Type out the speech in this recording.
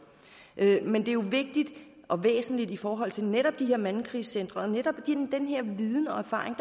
men det er jo vigtigt og væsentligt i forhold til netop de her mandekrisecentre og netop den her viden og erfaring